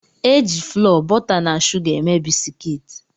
E jị FLọọ, bọta na shuga eme bisikiiti